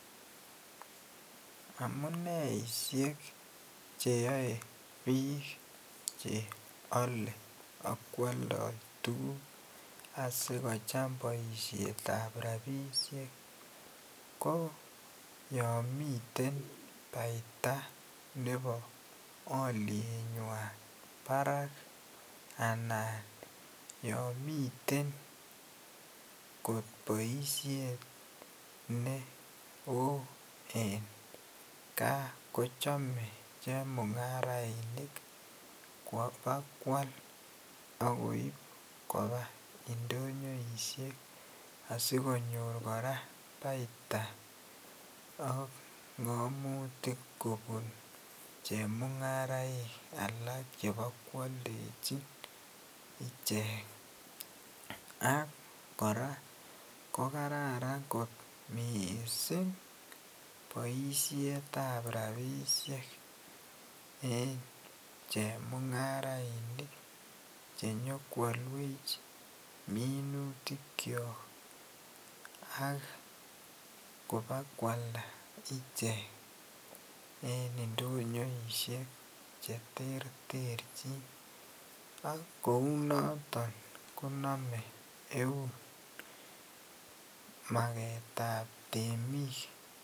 Amuneishek cheyae bik cheyale akwaldo tuguk asikocham baishet ab rabinik ko yamiten baita Nebo alienyinwan Barak anan yamiten kot baishet neon en ga kochame chemungarainik koba kwal akoib Koba indonyoishek asikonyor koraa baita ak ngamnutik kobun chemungaraik alalk Cheba kwaldechin ichek ak koraa kokararan kot mising baishet ab rabishek en chemungarainik chenyo kwalwech minutik chyok ak kobakwalda iche en indonyoishek cheterterchin akounoton konamen Eun maket ab temik